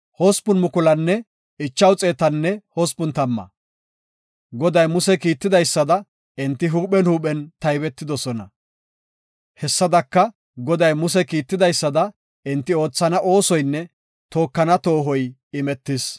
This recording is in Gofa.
Goday Muse kiitidaysada, enti huuphen huuphen taybetidosona. Hessadaka Goday Muse kiitidaysada enti oothana oosoynne tookana toohoy imetis.